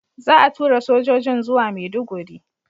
Za a tura sojojin zuwa Maiduguri.